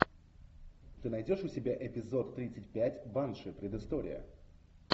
ты найдешь у себя эпизод тридцать пять банши предыстория